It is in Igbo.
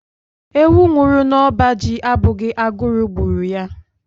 Ewu nwụrụ n'ọba ji abụghị agụrụ gburu ya..